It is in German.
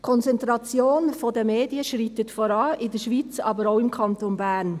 Die Konzentration der Medien schreitet voran, in der Schweiz, aber auch im Kanton Bern.